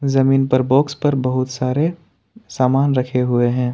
जमीन पर बॉक्स पर बहुत सारे सामान रखे हुए हैं।